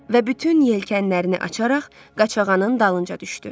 Və bütün yelkənlərini açaraq Qaçağanın dalınca düşdü.